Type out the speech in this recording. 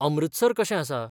Amritsar कशेंआसा?